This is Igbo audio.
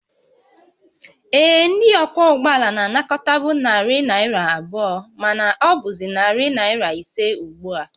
Ee, ndị ọkwọ ụgbọ ala na-anakọtabu narị naira abụọ, mana ọ bụzị narị naira ise ugbu a